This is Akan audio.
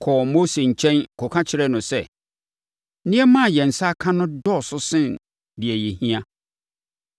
kɔɔ Mose nkyɛn kɔka kyerɛɛ no sɛ, “Nneɛma a yɛn nsa aka no dɔɔso sen deɛ yɛhia.”